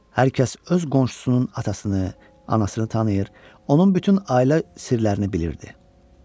Hər kəs öz qonşusunun atasını, anasını tanıyır, onun bütün ailə sirlərini bilirdi.